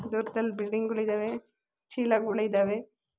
ದೊಡ್ಡ ದೊಡ್ಡ ಬಿಲ್ಡಿಂಗ್ ಗೊಳ್ ಇದಾವೆ ಚೀಲಗೊಳ್ ಇದಾವೆ.